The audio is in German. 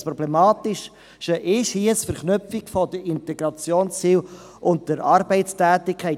das Problematische ist hingegen die Verknüpfung der Integrationsziele und der Arbeitstätigkeit.